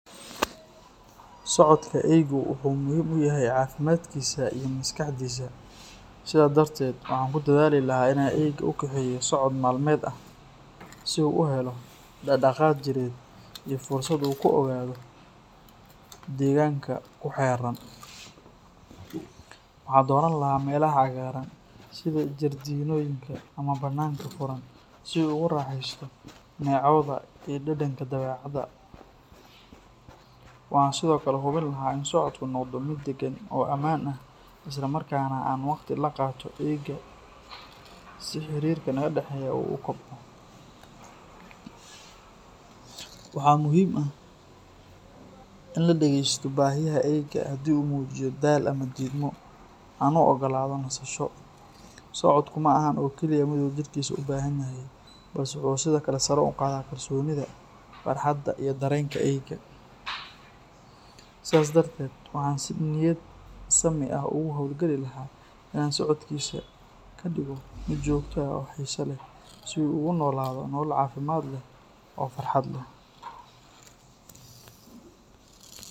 Socodka eeygu wuxuu muhiim u yahay caafimaadkiisa iyo maskaxdiisa. Sidaa darteed, waxaan ku dadaali lahaa inaan eeyga u kaxeeyo socod maalmeed ah, si uu u helo dhaqdhaqaaq jireed iyo fursad uu ku ogaado deegaanka ku xeeran. Waxaan dooran lahaa meelaha cagaaran sida jardiinooyinka ama bannaanka furan si uu ugu raaxeysto neecawda iyo dhadhanka dabeecadda. Waxaan sidoo kale hubin lahaa in socodku noqdo mid deggan oo ammaan ah, isla markaana aan wakhti la qaato eeyga si xiriirka naga dhexeeya uu u kobco. Waxaa muhiim ah in la dhageysto baahiyaha eeyga, haddii uu muujiyo daal ama diidmo, aan u oggolaado nasasho. Socodku ma ahan oo keliya mid uu jidhkiisu u baahan yahay, balse wuxuu sidoo kale sare u qaadaa kalsoonida, farxadda iyo dareenka eeyga. Sidaa darteed, waxaan si niyad sami ah ugu hawlgali lahaa inaan socodkiisa ka dhigo mid joogto ah oo xiiso leh, si uu ugu noolaado nolol caafimaad leh oo farxad leh.